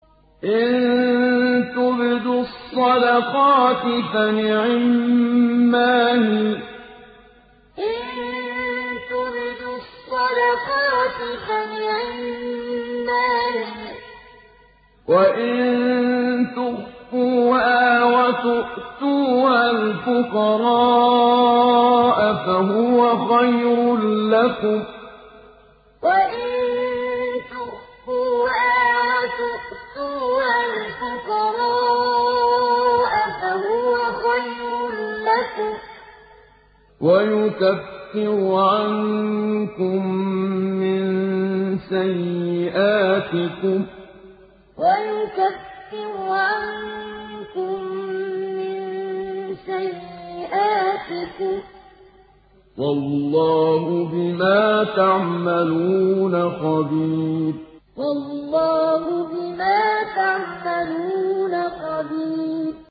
إِن تُبْدُوا الصَّدَقَاتِ فَنِعِمَّا هِيَ ۖ وَإِن تُخْفُوهَا وَتُؤْتُوهَا الْفُقَرَاءَ فَهُوَ خَيْرٌ لَّكُمْ ۚ وَيُكَفِّرُ عَنكُم مِّن سَيِّئَاتِكُمْ ۗ وَاللَّهُ بِمَا تَعْمَلُونَ خَبِيرٌ إِن تُبْدُوا الصَّدَقَاتِ فَنِعِمَّا هِيَ ۖ وَإِن تُخْفُوهَا وَتُؤْتُوهَا الْفُقَرَاءَ فَهُوَ خَيْرٌ لَّكُمْ ۚ وَيُكَفِّرُ عَنكُم مِّن سَيِّئَاتِكُمْ ۗ وَاللَّهُ بِمَا تَعْمَلُونَ خَبِيرٌ